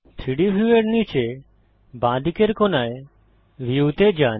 3ডি ভিউয়ের নীচে বাঁদিকের কোণায় ভিউ তে যান